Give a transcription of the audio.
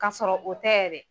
K'a sɔrɔ o tɛ yɛrɛ.